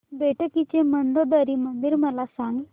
बेटकी चे मंदोदरी मंदिर मला सांग